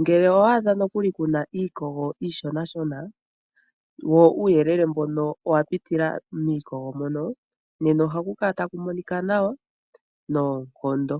Ngele owa adha nokuli kuna iikogo iishona shona wo uuyelele mbono owa pitila miikogo mono nena ohaku kala taku monika nawa noonkondo.